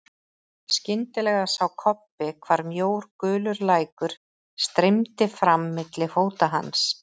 Skyndilega sá Kobbi hvar mjór gulur lækur streymdi fram milli fóta hans.